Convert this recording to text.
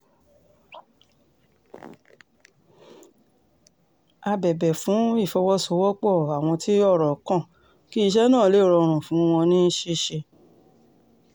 ó bẹ̀bẹ̀ fún ìfọwọ́sowọ́pọ̀ àwọn tí ọ̀rọ̀ kan kí iṣẹ́ náà lè rọrùn fún wọn ní ṣíṣe